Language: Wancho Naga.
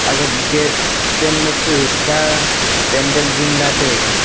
aga gate chen ma su cha pendal jingla taiga.